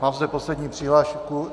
Mám zde poslední přihlášku.